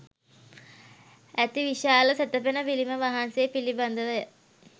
ඇති විශාල සැතපෙන පිළිම වහන්සේ පිළිබඳවය.